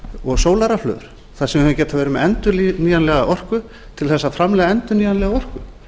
og sólarrafhlöður þar sem við hefðum getað verið með endurnýjanlega orku til að framleiða endurnýjanlega orku